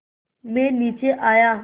मैं नीचे आया